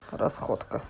расходка